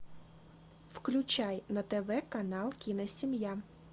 включай на тв канал киносемья